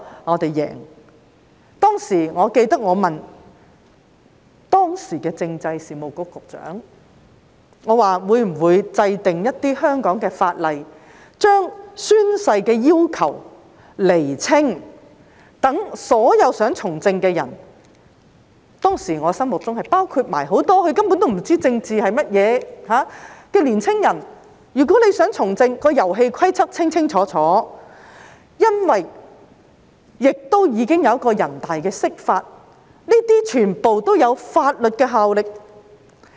我記得當時我曾詢問時任政制及內地事務局局長會否制定香港法例，把宣誓的要求釐清，讓所有想從政的人——當時在我心目中，是包括很多根本不知政治為何物卻想從政的年青人清清楚楚了解遊戲規則，亦因為全國人民代表大會常務委員會已作出釋法，這些全部均具法律效力。